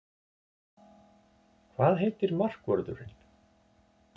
Hvað heitir markvörðurinn?